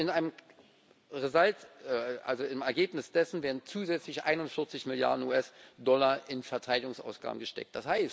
Und im Ergebnis dessen werden zusätzliche 41 Milliarden US Dollar in Verteidigungsausgaben gesteckt.